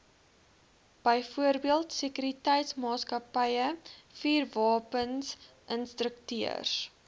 byvoorbeeld sekuriteitsmaatskappye vuurwapeninstrukteurs